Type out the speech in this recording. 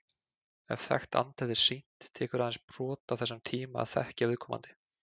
Ef þekkt andlit er sýnt, tekur aðeins brot af þessum tíma að þekkja viðkomandi.